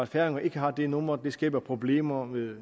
færinger ikke har dette nummer skaber problemer med